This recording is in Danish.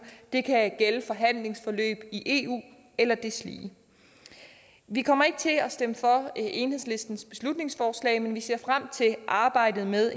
det kan gælde forhandlingsforløb i eu eller deslige vi kommer ikke til at stemme for enhedslistens beslutningsforslag men vi ser frem til arbejdet med